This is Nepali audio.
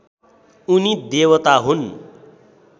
उनी देवता हुन्